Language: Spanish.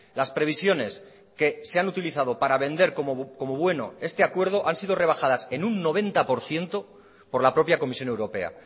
las previsiones que se han utilizado para vender como bueno este acuerdo han sido rebajadas en un noventa por ciento por la propia comisión europea